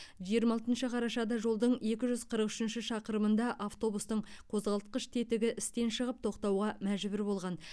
жиырма алтыншы қарашада жолдың екі жүз қырық үшінші шақырымында автобустың қозғалтқыш тетігі істен шығып тоқтауға мәжбүр болған